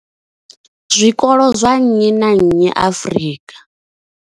zwikolo zwa nnyi na nnyi Afrika.